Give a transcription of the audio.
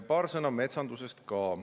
Paar sõna metsandusest.